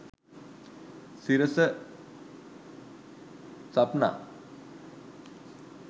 sirasa sapna